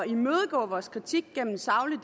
imødegå vores kritik gennem en saglig